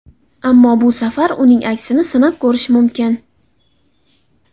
Ammo bu safar uning aksini sinab ko‘rish mumkin.